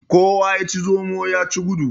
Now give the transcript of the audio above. Kowa yaci zomo yaci gudu.